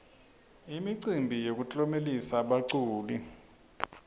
imicimbi yokutlomelisa baculi